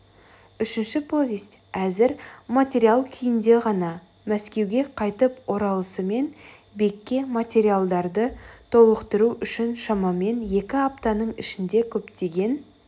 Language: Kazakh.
үшінші повесть әзір материал күйінде ғана мәскеуге қайтып оралысымен бекке материалдарды толықтыру үшін шамамен екі аптаның ішінде көптеген